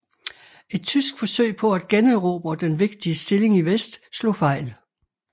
Et tysk forsøg på at generobre den vigtige stilling i vest slog fejl